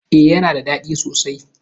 E, yana da ɗadi sosai.